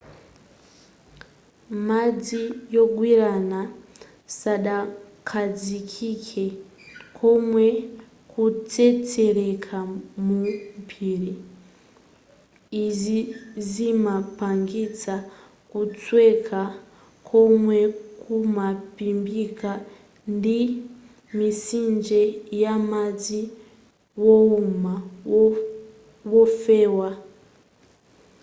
madzi wogwirana sadakhazikike koma kutsetseleka mu phiri izi zimapangitsa kusweka komwe kumaphimbika ndi mitsinje yamadzi wouma wofewa